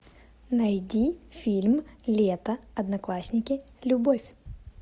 найди фильм лето одноклассники любовь